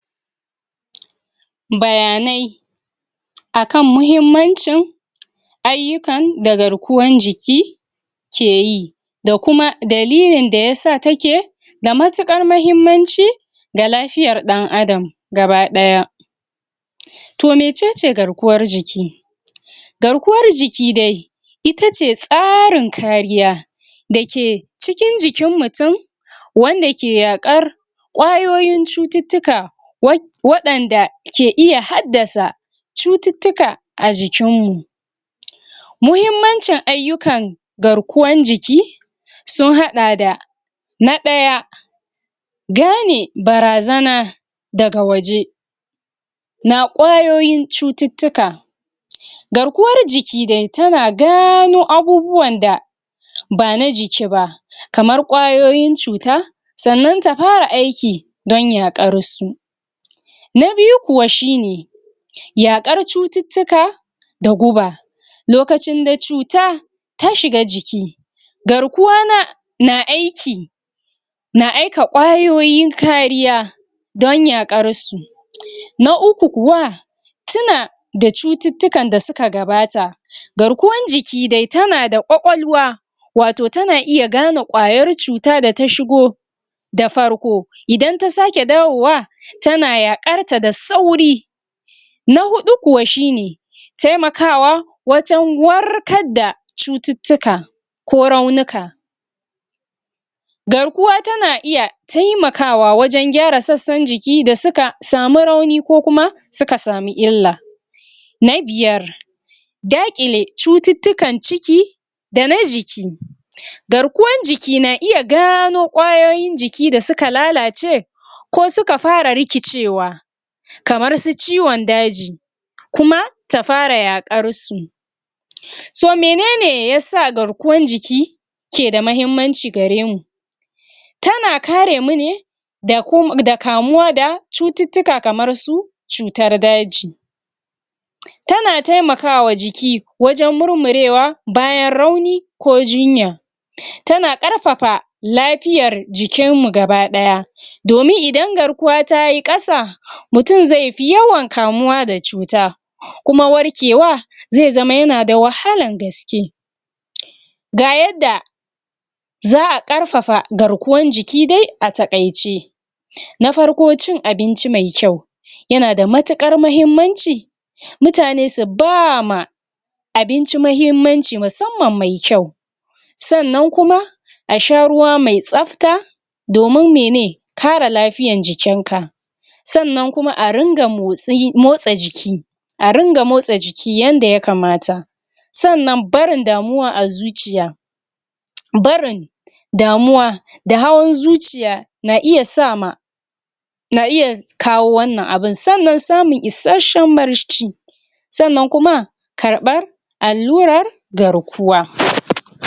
bayanai akan muhimmancin ayyukan da garkuwan jiki ke yi. da kuma dailin da yasa take da matuƙar mahimmanci ga lafiyar ɗan adam gaba ɗaya. to mecece garkuwar jiki? garkuwar jiki dai itace tsarin kariya dake cikin jikin mutum wanda ke yaƙar ƙwayoyin cututtuka wa waɗanda ke iya haddasa cututtuka a jikin mu. muhimmancin ayykan garkuwan jiki sun haɗa da na ɗaya gane barazana daga waje na ƙwayoyin cututtuka garkuwar jiki dai tana gano abubuwan da bana jiki ba kamar ƙwayoyin cuta sannan ta fara aiki don yaƙar su. na biyu kuwa shine yaƙar cututtuka da guba lokacin da cuta ta shiga jiki garkuwa na na aiki na aika ƙwayoyin kariya don yaƙar su. Na uku kuwa suna da cututtukan da suka gabata garkuwan jiki dai tana da ƙwaƙwalwa wato tana iya gane ƙwayar cuta da ta shigo da farko idan ta sake dawowa tana yaƙarta da sauri na huƙu kuwa shine taimakawa wajen warkar da cututtuka ko raunuka garkuwa tana iya taimakwa wajen gyara sassan jiki da suna samu rauni ko kuma suka samu illa na biyar daƙile cututtukan ciki dana jiki garkuwan jiki na iya gano ƙwayoyin jiki da suka lalace ko suka fara rikicewa kamar su ciwon daji kuma ta fara yaƙar su to menene yasa garkuwan jiki keda mahimmanci gare mu tana karemu ne da kamuwa da cututtuka kamar su cutar daji. tana taimakawa jiki wajen murmurewa bayan rauni ko jinya tana ƙarfafa lafiyar jikin mu gaba ɗaya domin idan garkuwa tayi ƙasa mutum zaifi yawan kamuwa da cuta mutum zaifi yawan kamuwa da cuta kuwam warkewa zai zama yana da wahalan gaske. ga yadda za'a ƙarafafa garkuwan jiki dai a taƙaice na farko cin abinci mai kyau yana da matuƙar mahimmanci mutane su bama abinci mahimmanci musamman mai kyau sannan kuma a sha ruwa mai tsafta domin mene kare lafiyan jikin ka sannan kuma a ringa motsi motsa jiki a ringa motsa jiki yanda ya kamata sannan barin damuwa a zuciya barin damuwa da hawan zuciya na kiya sama na iya kawo wannan abun. sannan samun isashen barci sannan kuma ƙarɓar allurar garkuwa